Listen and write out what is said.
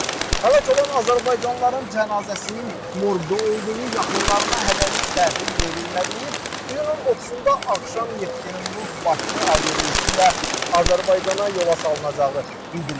Həlak olan azərbaycanlıların cənazəsinin morqda olduğu, yaxınlarına hələlik təhvil verilmədiyi, iyunun 30-da axşam Yekaterinburq-Bakı aviareysi ilə Azərbaycana yola salınacağı bildirilib.